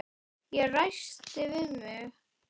Ég ræskti mig.